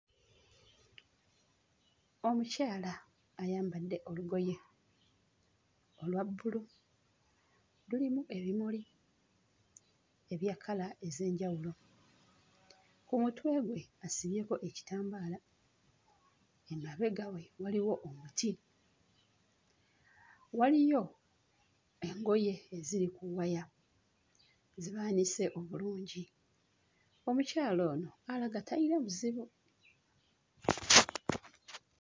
Omukyala ayambadde olugoye olwa bbulu, lulimu ebimuli ebya kkala ez'enjawulo, ku mutwe gwe asibyeko ekitambaala, emabega we waliwo omuti, waliyo engoye eziri ku waya ze baanise obulungi, omukyala ono alaga tayina buzibu.